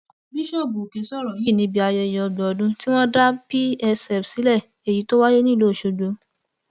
bíṣọọbù òkè sọrọ yìí níbi ayẹyẹ ọgbọn ọdún tí wọn ti dá psf sílẹ èyí tó wáyé nílùú ọsọgbò